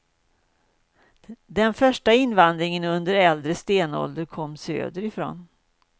Den första invandringen, under äldre stenålder, kom söderifrån.